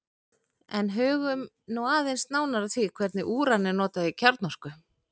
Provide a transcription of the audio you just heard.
en hugum nú aðeins nánar að því hvernig úran er notað í kjarnorku